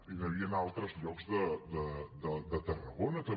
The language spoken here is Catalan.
i n’hi havien a altres llocs de tarragona també